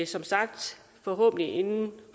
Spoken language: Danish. som sagt forhåbentlig inden